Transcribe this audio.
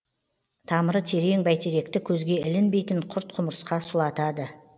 тамыры терең бәйтеректі көзге ілінбейтін құрт құмырсқа сұлатады